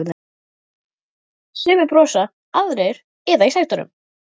Sumir brosa, aðrir iða í sætunum.